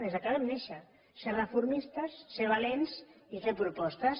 des que vam néixer ser reformistes ser valents i fer propostes